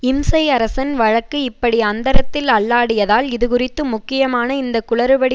இம்சை அரசன் வழக்கு இப்படி அந்தரத்தில் அல்லாடியதால் இது குறித்து முக்கியமாக இந்த குளறுபடி